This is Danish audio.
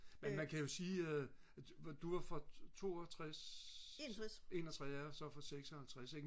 men man kan jo sige du var 62 6q jeg er så fra 56 ik